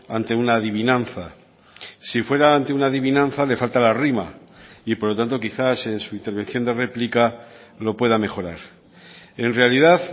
ante una adivinanza si fuera ante una adivinanza le falta la rima y por lo tanto quizás en su intervención de réplica lo pueda mejorar en realidad